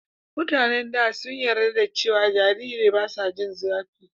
mutanen da sun yarda cewa jariri basu jin zafi